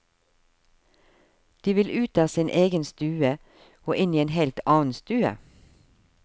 De vil ut av sin egen stue og inn i en helt annen stue.